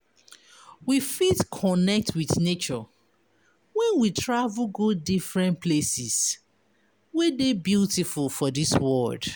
We fit connect with nature when we travel go different places wey de beautiful for dis world